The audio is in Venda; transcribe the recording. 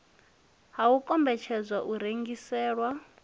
ha u kombetshedzwa u rengiselwa